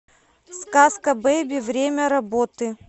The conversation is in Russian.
сказкабэби время работы